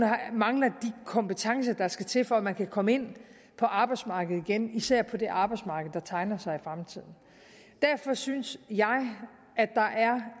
mangler de kompetencer der skal til for at man kan komme ind på arbejdsmarkedet igen især på det arbejdsmarked der tegner sig i fremtiden derfor synes jeg at der er